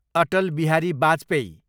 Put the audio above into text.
Atal Bihari Vajpayee